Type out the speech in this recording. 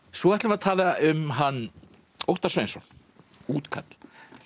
svo ætlum við að tala um hann Óttar Sveinsson útkall